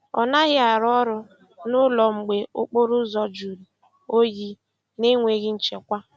Ọ naghị arụ ọrụ n'ụlọ mgbe okporo ụzọ juru oyi na enweghị nchekwa.